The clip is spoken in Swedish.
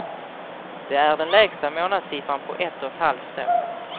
Det är den lägsta månadssiffran på ett och ett halvt år.